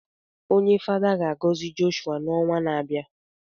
Onye Fada ga-agọzi Jọshụa n’ọnwa na-abịa